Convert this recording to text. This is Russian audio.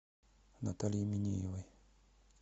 наталье минеевой